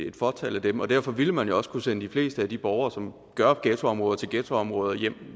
et fåtal af dem og derfor ville man jo også kunne sende de fleste af de borgere som gør ghettoområder til ghettoområder hjem